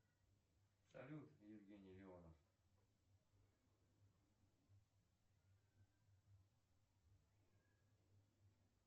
салют евгений леонов